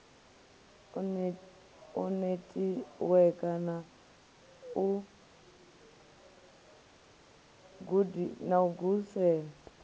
u netiweka na lu ugisela